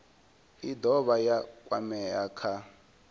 i dovha ya kwamea kha